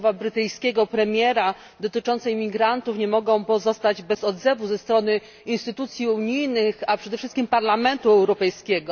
Słowa brytyjskiego premiera dotyczące imigrantów nie mogą pozostać bez odzewu ze strony instytucji unijnych, a przede wszystkim Parlamentu Europejskiego.